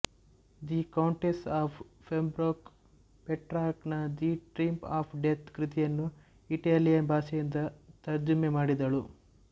the countess of Pembroke Petrarch ನ the triumph of death ಕೃತಿಯನ್ನು Italian ಭಾಷೆಯಿಂದ ತರ್ಜುಮೆ ಮಾಡಿದಳು